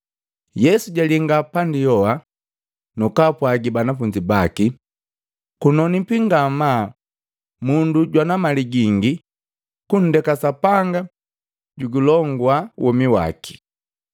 Yesu jalinga pandi yoha, nakwapwagi banafunzi baki, “Kunonwipi ngamaa mundu jwana mali gingi kundeke Sapanga julongua womi waki!”